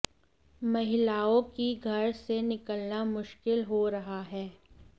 महिलाओं की घर से निकला मुश्किल हो रहा है